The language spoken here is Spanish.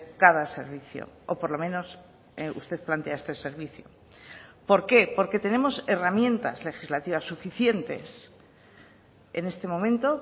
cada servicio o por lo menos usted plantea este servicio por qué porque tenemos herramientas legislativas suficientes en este momento